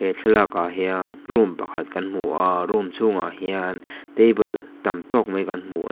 thlalak ah hian room pakhat kan hmu a room chhung ah hian table tam tawk mai kan hmu--